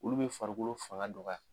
Olu be farikolo faŋa dɔgɔya